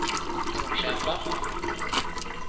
okända